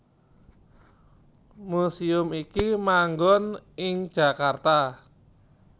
Museum iki manggon ing Jakarta